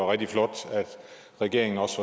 rigtig flot at regeringen også